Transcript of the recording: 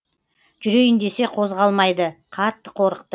жүрейін десе қозғалмайды қатты қорықты